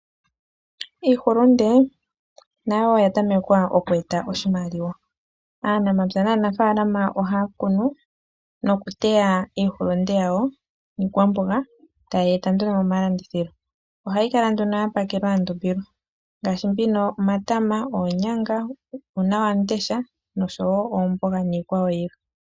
Iihulunde nayo oya tameka oku eta oshimaliwa . Aanamapya naanafaalama ohaya kunu nokuteya iihulunde yawo niikwamboga tayeyi eta nduno momalandithilo . Ohayi kala nduno ya pakelwa ya ndumbilwa ngaashi omatama, oonyanga, uuna wamundesha noshowo oomboga niikwawo yilwe.